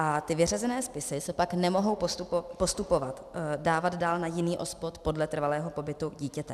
A ty vyřazené spisy se pak nemohou postupovat, dávat dál na jiný OSPOD podle trvalého pobytu dítěte.